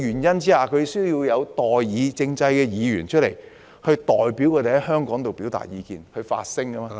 因此，他們需在代議政制下選出議員，代表他們在議會發聲......